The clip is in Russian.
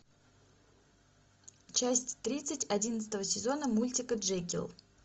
часть тридцать одиннадцатого сезона мультика джекил